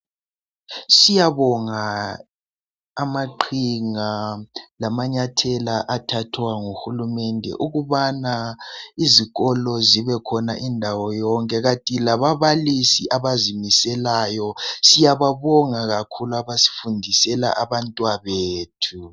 Siyabonga amaqhinga lamanyathela athathwa ngu hulumende ukubana izikolo zibekhona indawo yonke kanti lababalisi abazimiselayo siyababonga kakhulu abasifundisela abantwabethu.